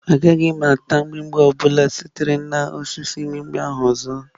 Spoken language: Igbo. Agaghị m ata mgbimgbi ọ bụla sitere na osisi mgbimgbi ahụ ọzọ.